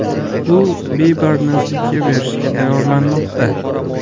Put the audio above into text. U Biberni sudga berishga tayyorlanmoqda.